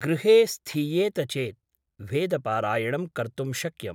गृहे स्थीयेत चेत् वेदपारायणं कर्तुं शक्यम् ।